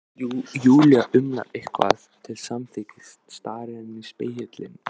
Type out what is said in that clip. Júlía umlar eitthvað til samþykkis, starir enn í spegilinn.